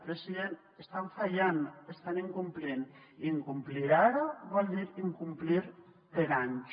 president estan fallant estan incomplint i incomplir ara vol dir incomplir per anys